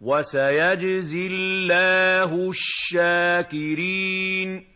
وَسَيَجْزِي اللَّهُ الشَّاكِرِينَ